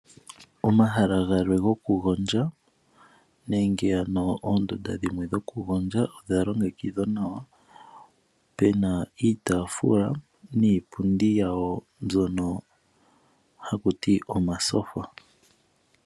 Omahala gamwe goku gondja nenge oondunda dhoku gondjwa odha longekidhwa nawa muna iitaafula niipundi yawo mbyono hayi ithanwa omatyofa.